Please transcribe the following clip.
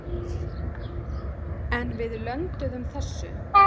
En við lönduðum þessu.